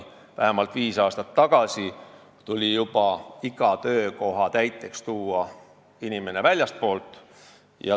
Vähemalt viis aastat tagasi tuli juba iga töökoha täiteks inimene väljastpoolt tuua.